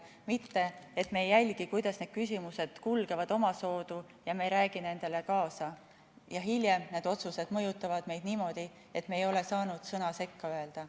Mitte see, et me ei jälgi, kuidas need küsimused kulgevad, omasoodu, me ei räägi nendele kaasa, aga hiljem need otsused mõjutavad meid niimoodi, et me ei ole saanud sõna sekka öelda.